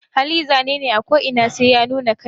Hali zanene ako inatake sai ya nuna kanshi.